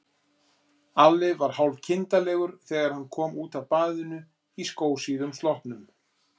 Alli var hálfkindarlegur þegar hann kom út af baðinu í skósíðum sloppnum.